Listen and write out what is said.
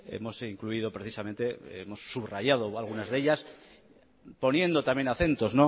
hemos incluido precisamente hemos subrayado algunas de ellas poniendo también acentos